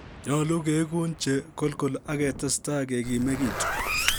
Nyolu keegun che kolgol ak ketestai kegimegitu.